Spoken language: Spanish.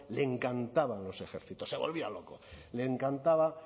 le encantaban los ejércitos se volvía loco le encantaba